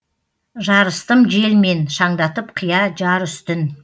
жарыстым желмен шаңдатып қия жар үстін